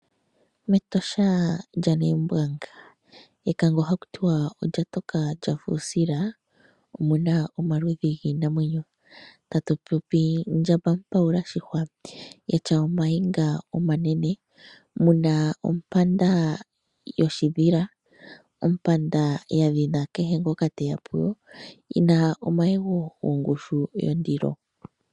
Metosha lyaNaimbwanga, mekango haku tiwa olya toka lya fa uusila omu na omaludhi giinamwenyo. Tatu popi Ndjamba mupaula shihwa ya tya omayego omanene, mu na ompanda yoshidhila, ompanda ya dhina kehe ngoka te ya puyo yi na omayego gongushu yondilo.